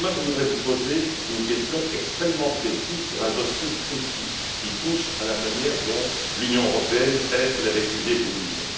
Je voudrais vous poser une question extrêmement précise sur un dossier précis qui touche à la manière dont l'Union européenne aide les réfugiés burundais.